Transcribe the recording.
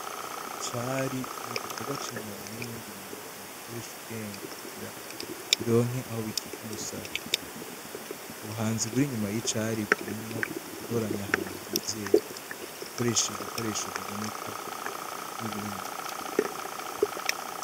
Icari ni igikorwa c'inyoni h n'ibindi binyabuzima bikoresha ubwenge kugira bironke aho bikika umusaya, ubuhanzi buri inyuma y'icari burimwo ugutoranya ahantu hizewe, gukoresha ibikoresho biboneka n'ibindi.